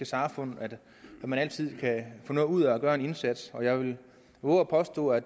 samfund at man altid kan få noget ud af at gøre en indsats og jeg vil vove at påstå at